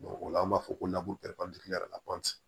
o la an b'a fɔ ko